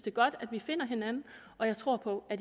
er godt at vi finder hinanden og jeg tror på at